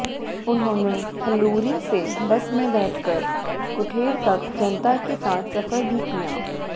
उन्होंने हलूरी से बस में बैठकर कुठेड़ तक जनता के साथ सफर भी किया